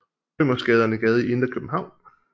Rømersgade er en gade i det indre København